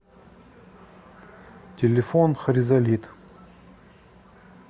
телефон хризолит